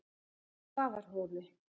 Svarfhóli